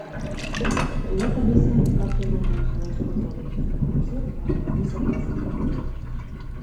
привет алиса как я могу узнать подробную информацию по моим заказам в отеле